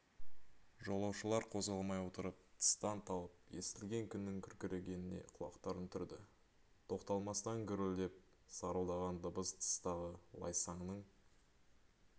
жолаушылар қозғалмай отырып тыстан талып естілген күннің күркірегеніне құлақтарын түрді тоқталмастан гүрілдеп сарылдаған дыбыс тыстағы лайсаңның